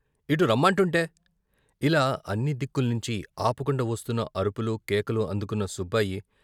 ఇటు రమ్మంటుంటే " ఇలా అన్ని దిక్కుల్నించీ ఆపకుండా వస్తున్న అరుపులు, కేకలు అందుకున్న సుబ్బాయి...